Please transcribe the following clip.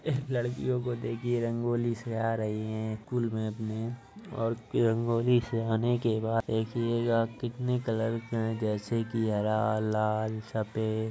इस लड़कियों को देखिए रंगोली सजा रही हैं। स्कूल में अपने और रंगोली सजाने के बाद देखिएगा कितने कलर्स हैं जैसे की हरा लाल सफेद --